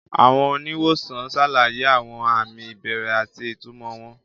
Àwọn oníwòsàn ṣàlàyé àwọn àmì ìbẹ̀rẹ̀ àti ìtumọ̀ wọn.